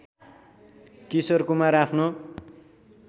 किशोर कुमार आफ्नो